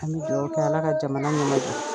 An bɛ duawu kɛ ala ka jamana ɲɛmajɔ